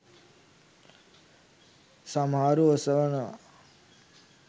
සමහරු ඔසවනවා.